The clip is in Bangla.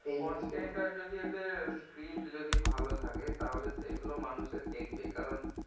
content আর যদি এদের script যদি ভালো থাকে তাহলে সেগুলো মানুষও দেখবেই কারণ